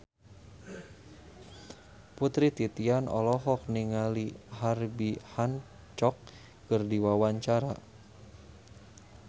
Putri Titian olohok ningali Herbie Hancock keur diwawancara